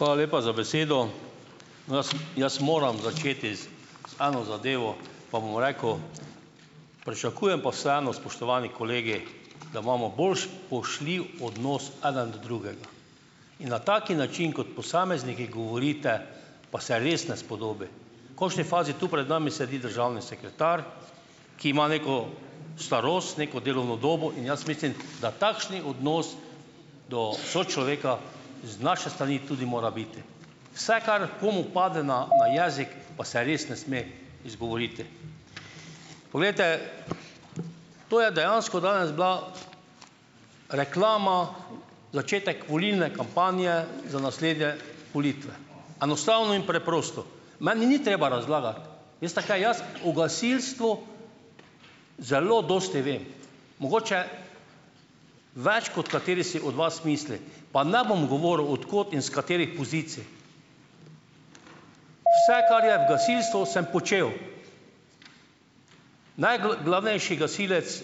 Hvala lepa za besedo. Jaz, jaz moram začeti z eno zadevo, pa bom rekel, pričakujem pa vseeno, spoštovani kolegi, da imamo bolj spoštljiv odnos eden do drugega in na tak način, kot posamezniki govorite, pa se res ne spodobi. V končni fazi tu pred nami sedi državni sekretar, ki ima neko starost, neko delovno dobo in jaz mislim, da takšen odnos do sočloveka z naše strani tudi mora biti. Vse, kar komu pade na na jezik, pa se res ne sme izgovoriti. Poglejte, to je dejansko danes bila reklama, začetek volilne kampanje za naslednje volitve. Enostavno in preprosto. Meni ni treba razlagati. Veste kaj, jaz o gasilstvu zelo dosti vem, mogoče več, kot kateri si od vas misli, pa ne bom govoril, od kod in s katerih pozicij. Vse, kar je v gasilstvu, sem počel. Najglavnejši gasilec